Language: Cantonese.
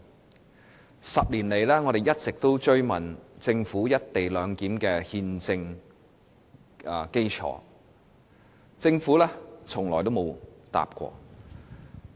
在這10年間，我們一直追問政府有關"一地兩檢"的憲政基礎，但政府從沒答覆。